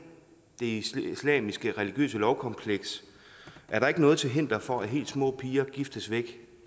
det islamisk religiøse lovkompleks er der ikke noget til hinder for at helt små piger giftes væk